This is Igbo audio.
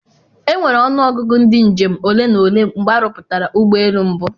Enwere ọnụ ọgụgụ ndị njem ole na ole mgbe a rụpụtara ụgbọ elu mbụ